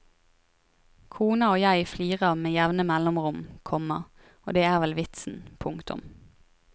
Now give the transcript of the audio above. Kona og jeg flirer med jevne mellomrom, komma og det er vel vitsen. punktum